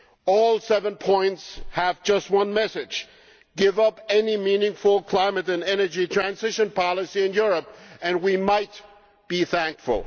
All seven points have just one message give up any meaningful climate and energy transition policy in Europe and we might be thankful.